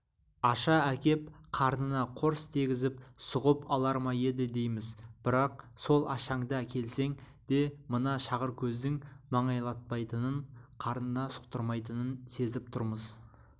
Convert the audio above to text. аша әкеп қарнына қорс дегізіп сұғып алар ма еді дейміз бірақ сол ашаңды әкелсең де мына шағыркөздің маңайлатпайтынын қарнына сұқтырмайтынын сезіп тұрмыз